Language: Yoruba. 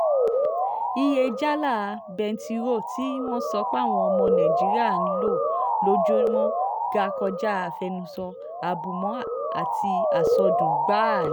iye jálá bẹntiróòlù tí wọ́n sọ páwọn ọmọ nàìjíríà ń lò lójúmọ́ ga kọjá àfẹnusọ àbùmọ́ àti àsọdùn gbáà ni